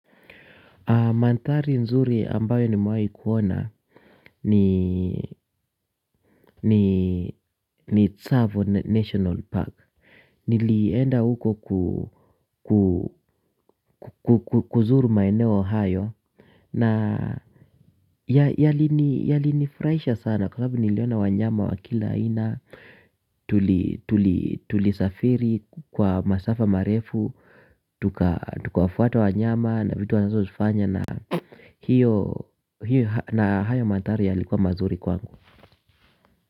Mandhari nzuri ambayo nimewai kuona ni ni Tsavo National Park. Nilienda huko kuzuru maeneo hayo. Na yalinifurahisha sana kwa sababu niliona wanyama wa kila aina. Tulisafiri kwa masafa marefu. Tukawafuata wanyama na vitu wanazozifanya. Na hiyo na hayo mandhari yalikuwa mazuri kwangu.